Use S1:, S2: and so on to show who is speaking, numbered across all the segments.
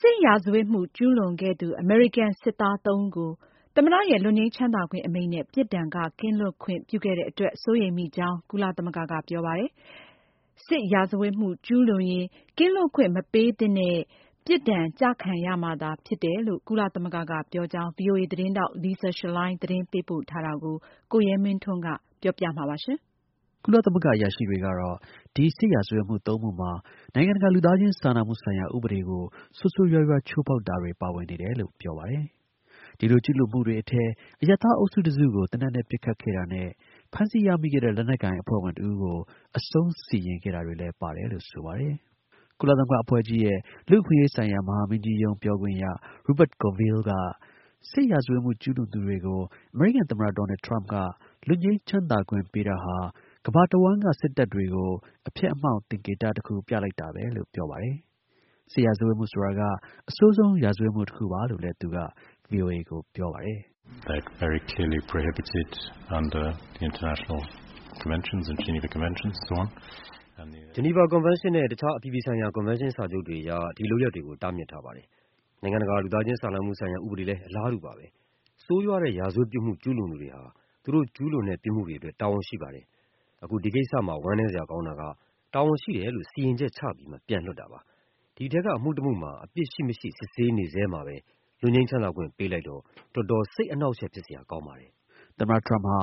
S1: စစ်ရာဇဝတ်မှု ကျူးလွန်ခဲ့သူ အမေရိကန် စစ်သား ၃ ဦးကို သမ္မတရဲ့ လွတ်ငြိမ်းချမ်းသာခွင့်အမိန့်နဲ့ ပြစ်ဒဏ်က ကင်းလွတ်ခွင့် ပြုခဲ့တဲ့အတွက် စိုးရိမ်မိကြောင်း ကုလသမဂ္ဂက ပြောပါတယ်။ စစ်ရာဇဝတ်မှု ကျူးလွန်ရင် ကင်းလွတ်ခွင့် မပေးသင့်ဘဲ ပြစ်ဒဏ်ကျခံရမှာသာဖြစ်တယ်လို့ ကုလသမဂ္ဂက ပြောကြောင်း Lisa Schlein သတင်းပေးပို့ထားတာကို ကိုရဲမင်းထွန်းက ပြောပြပေးပါမယ်
S2: ။ ကုလသမဂ္ဂ အရာရှိတွေကတော့ ဒီ စစ်ရာဇဝတ်မှု ၃ မှုမှာ နိုင်ငံတကာ လူသားချင်းစာနာမှုဆိုင်ရာ ဥပဒေကို ဆိုးဆိုးရွားရွားချိုးဖောက်တာတွေ ပါဝင်နေတယ်လို့ပြောပါတယ်။ ဒီလိုကျူးလွန်မှုတွေအထဲ အရပ်သား အုပ်စုတစ်စုကို သေနတ်နဲ့ ပစ်ခတ်ခဲ့တာနဲ့ ဖမ်းဆီးရမိခဲ့တဲ့ လက်နက်ကိုင် အဖွဲ့ဝင်တစ်ဦးကို အဆုံးစီရင်ခဲ့တာတွေလည်း ပါတယ်လို့ ဆိုပါတယ်။ ကုလသမဂ္ဂ လူ့အခွင့်အရေးဆိုင်ရာ မဟာမင်းကြီးရုံး ပြောခွင့်ရ Rupert Colville က စစ်ရာဇဝတ်မှု ကျူးလွန်သူတွေကို အမေရိကန်သမ္မတ ဒေါ်နယ်ထရမ့်က လွတ်ငြိမ်းချမ်းသာခွင့်ပေးတာဟာ ကမ္ဘာတစ်ဝှမ်းက စစ်တပ်တွေကို အဖျက်အမှောင့် သင်္ကေတ ပြလိုက်တာပဲလို့ ပြောပါ တယ်။ စစ်ရာဇဝတ်မှုဆိုတာက အဆိုးဆုံး ရာဇဝတ်မှုတစ်ခုပါလို့လည်း သူက ဗီအိုအေကို ပြောပါတယ်
S3: ။ “ဂျီနီဗာ ကွန်ဗင်းရှင်းနဲ့ တစ်ခြား အပြည်ပြည်ဆိုင်ရာ ကွန်ဗင်းရှင်းစာချုပ်တွေအရ ဒီ လုပ်ရပ်တွေကို တားမြစ်ထားပါတယ်။ နိုင်ငံတကာ လူသား ချင်းစာနာမှုဆိုင်ရာ ဥပဒေလည်း အလားတူ ပါပဲ။ ဆိုးရွားတဲ့ ရာဇဝတ် ပြစ်မှုကျူးလွန်သူတွေဟာ သူတို့ ကျူးလွန်တဲ့ ပြစ်မှုတွေအတွက် တာဝန်ရှိပါတယ်။ အခု ဒီကိစ္စမှာ ဝမ်းနည်းစရာကောင်းတာက တာဝန်ရှိတယ်လို့ စီရင်ချက်ချပြီးမှ ပြန်လွှတ်တာပါ။ ဒီ အထဲက အမှုတစ်မှုမှာ အပြစ် ရှိ-မရှိ စစ်ဆေးနေဆဲမှာပဲ လွတ်ငြိမ်းချမ်းသာခွင့် ပေးလိုက်တော့ တော်တော် စိတ် အနှောင့်အယှက် ဖြစ်စရာ ကောင်းပါတယ်
S2: ။” သမ္မတ ထရမ့်ဟာ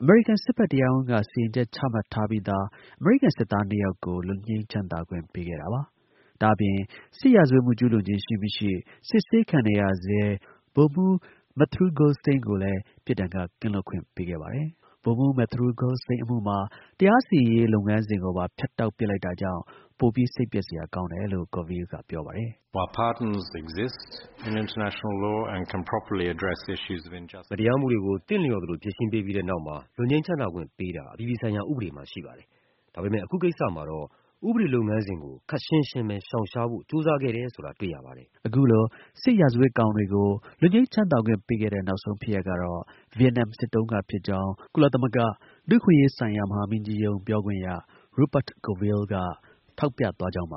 S2: အမေရိကန် စစ်ဘက်တရားရုံးက စီရီချက် ချမှတ်ထားပြီးသား အမေရိကန် စစ်သားနှစ်ယောက်ကို လွတ်ငြိမ်းချမ်းသာခွင့် ပေးခဲ့တာပါ။ ဒါ့အပြင် စစ်ရာဇဝတ်မှု ကျူးလွန်ခြင်း ရှိ-မရှိ စစ်ဆေးခံနေရဆဲ ဗိုလ်မှူး Mathew Golsteyn ကိုလည်း ပြစ်ဒဏ်ကကင်းလွတ်ခွင့် ပေးခဲ့ပါတယ်။ ဗိုလ်မှူး Mathew Golsteyn အမှုမှာ တရားစီရင်ရေး လုပ်ငန်းစဉ်ကိုပါ ဖြတ်တောက်ပစ်လိုက်တာကြောင့် ပိုပြီး စိတ်ပျက်စရာကောင်းတယ်လို့ Coville က ပြောပါတယ်။
S3: “မတရားမှုတွေကို သင့်လျော်သလို ဖြေရှင်းပေးပြီးတဲ့နောက်မှာ လွတ်ငြိမ်းချမ်းသာခွင့်ပေးတာ အပြည်ပြည်ဆိုင်ရာ ဥပဒေမှာ ရှိပါတယ်။ ဒါပေမဲ့ အခုကိစ္စမှာတော့ ဥပဒေလုပ်ငန်းစဉ်ကို ခပ်ရှင်းရှင်းပဲ ရှောင်ရှားဖို့ ကြိုးစားခဲ့တယ်ဆိုတာကိုပဲ တွေ့ရပါတ
S2: ယ်။” အခုလို စစ်ရာဇဝတ်ကောင်တွေကို လွတ်ငြိမ်းချမ်းသာခွင့်ပေးခဲ့တဲ့ နောက်ဆုံး ဖြစ်ရပ်ကတော့ ဗီယက်နမ် စစ်တုန်းက ဖြစ်ကြောင်း ကုလသမဂ္ဂ လူ့အခွင့်အရေးဆိုင်ရာ မဟာမင်းကြီးရုံး ပြောခွင့်ရ Rupert Colville က ထောက်ပြသွားကြောင်းပါ